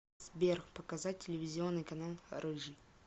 сбер показать телевизионный канал рыжий